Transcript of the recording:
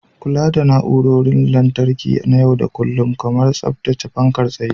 Kula da na'urorin lantarki na yau da kullun, kamar tsaftace fankar tsaye.